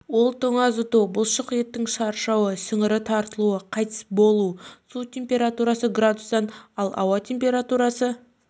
ол тоңазыту бұлшық еттің шаршауы сіңірі тартылу қайтыс болу су температурасы градустан ал ауа температурасы